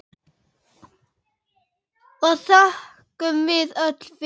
og þökkum við öll fyrir.